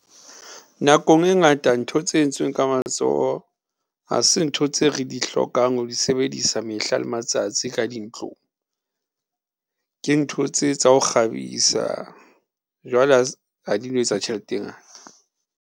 Nakong e ngata ntho tse entsweng ka matsoho ha se ntho tse re di hlokang ho di sebedisa mehla le matsatsi ka dintlong, ke ntho tse tsa ho kgabisa jwale ha di no etsa tjhelete e ngata.